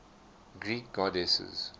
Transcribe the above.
greek goddesses